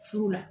Furu la